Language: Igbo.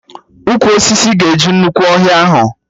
Ụkwụ osisi ga-eju nnukwu ọhịa ahụ